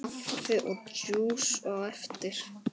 Kaffi og djús á eftir.